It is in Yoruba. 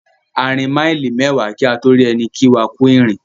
A rìn maili mẹ́wa kí a tó rí ẹni kí wá "kú ìrìn".